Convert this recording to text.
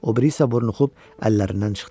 O biri isə burunuxub əllərindən çıxdı.